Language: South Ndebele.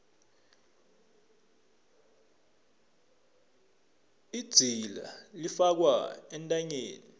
idzila ifakwa entanyeni